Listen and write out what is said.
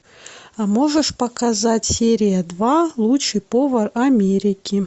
а можешь показать серия два лучший повар америки